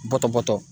Bɔtɔ bɔtɔ